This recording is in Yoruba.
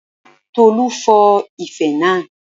Tolú fọ́ ife naa